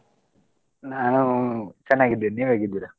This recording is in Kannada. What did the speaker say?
ನಾನು ಚೆನ್ನಾಗಿದ್ದೇನೆ ನೀವ್ ಹೇಗಿರ?